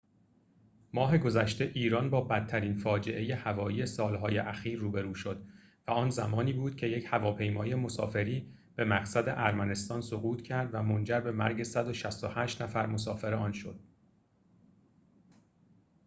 ماه گذشته ایران با بدترین فاجعه هوایی سال‌های اخیر روبرو شد و آن زمانی بود که یک هواپیمای مسافری به مقصد ارمنستان سقوط کرد و منجر به مرگ ۱۶۸ نفر مسافر آن شد